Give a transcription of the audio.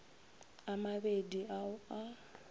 a mabedi a o a